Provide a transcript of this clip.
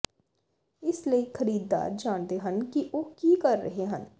ਇਸ ਲਈ ਖਰੀਦਦਾਰ ਜਾਣਦੇ ਹਨ ਕਿ ਉਹ ਕੀ ਕਰ ਰਹੇ ਹਨ